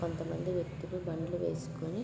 కొంత మంది వ్యక్తులు బండ్లు వేసుకొని --